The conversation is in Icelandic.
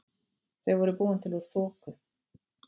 Þau voru búin til úr þoku.